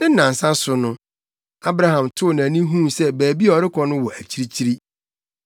Ne nnansa so no, Abraham too nʼani huu sɛ baabi a ɔrekɔ no wɔ akyirikyiri.